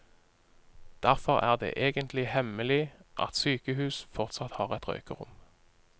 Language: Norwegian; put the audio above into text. Derfor er det egentlig hemmelig at sykehuset fortsatt har et røykerom.